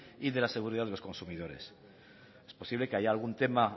y de la seguridad de los consumidores es posible que haya algún tema